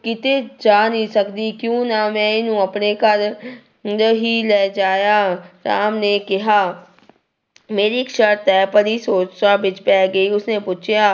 ਕਿਤੇ ਜਾ ਨਹੀਂ ਸਕਦੀ, ਕਿਉਂ ਨਾ ਮੈਂ ਇਹਨੂੰ ਆਪਣੇ ਘਰ ਹੀ ਲਿਜਾਇਆ, ਰਾਮ ਨੇ ਕਿਹਾ ਮੇਰੀ ਇੱਕ ਸਰਤ ਹੈ, ਪਰੀ ਸੋਚਾਂ ਵਿੱਚ ਪੈ ਗਈ, ਉਸਨੇ ਪੁੱਛਿਆ,